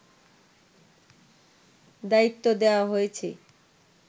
দায়িত্ব দেওয়া হয়েছে